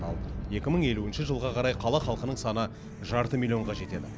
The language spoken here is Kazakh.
ал екі мың елуінші жылға қарай қала халқының саны жарты миллионға жетеді